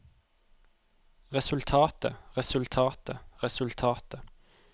resultatet resultatet resultatet